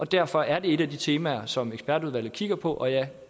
derfor er det et af de temaer som ekspertudvalget kigger på og jeg